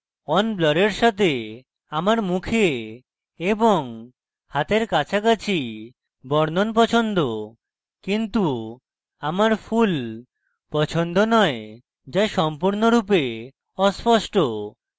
on ব্লাড়ের সাথে আমার মুখে এবং হাতের কাছাকাছি বর্ণন পছন্দ কিন্তু আমার ফুল পছন্দ নয় যা সম্পূর্ণরূপে অস্পষ্ট